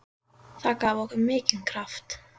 Það gaf okkur mikinn kraft.